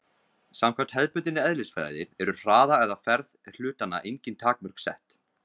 Samkvæmt hefðbundinni eðlisfræði eru hraða eða ferð hlutanna engin takmörk sett.